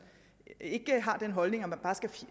ikke har den holdning